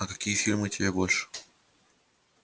а какие фильмы тебе больше